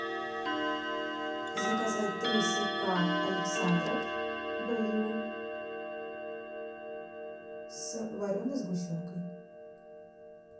заказать три сырка александров б ю с вареной сгущенкой